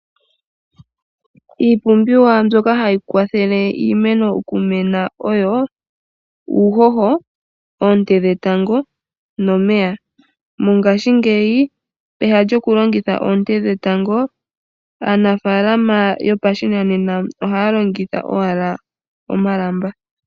Iipumbiwa mbyoka hayi kwathele iimeno okumena oyo: uuhoho, oone dhetango nomeya. Mongashingeyi pehala lyokulongitha oonte dhetango, aanafalama yopashinanena ohaya longitha owala omalamba.